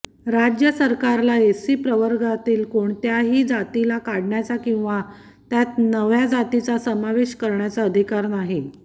राज्य सरकारला एससी प्रवर्गातील कोणत्याही जातीला काढण्याचा किंवा त्यात नव्या जातीचा समावेश करण्याचा अधिकार नाही